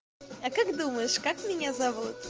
а как думаешь как меня зовут